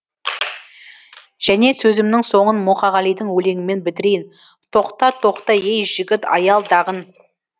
және сөзімнің соңын мұқағалидың өлеңімен бітірейін тоқта тоқта ей жігіт аялдағын